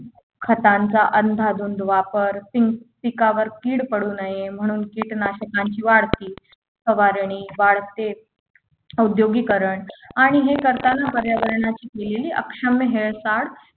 खतांचा अंदाधुंद वापर पिंक पिकावर कीड पडू नये म्हणून कीटकनाशकांची वाढ वाढती फवारणी वाढते औद्योगीकरण आणि हे करताना पर्यावरणाची केलेली अक्षम्य हेळसांड